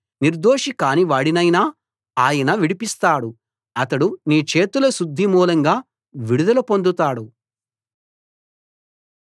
నిర్దోషి కానివాడినైనా ఆయన విడిపిస్తాడు అతడు నీ చేతుల శుద్ధి మూలంగా విడుదల పొందుతాడు